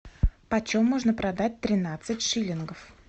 почем можно продать тринадцать шиллингов